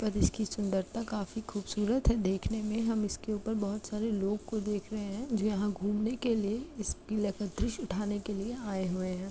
पर इसकी सुंदरता काफी खूबसूरत है देखने मे। हम इसके ऊपर बोहोत सारे लोग को देख रहे है जो यहाँ घूमने के लिए इस किला का दृश्य उठाने के लिए आए हुए हैं।